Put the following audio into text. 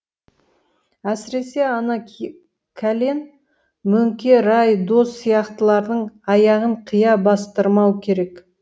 әсіресе ана кәлен мөңке рай дос сияқтылардың аяғын қия бастырмау керек